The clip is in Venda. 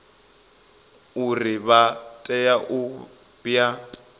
uri vha tea u ya